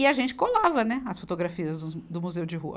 E a gente colava, né, as fotografias dos, do Museu de Rua.